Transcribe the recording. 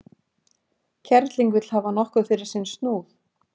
Kerling vill hafa nokkuð fyrir sinn snúð.